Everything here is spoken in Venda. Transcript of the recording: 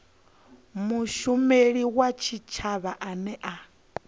mushumeli wa tshitshavha ane a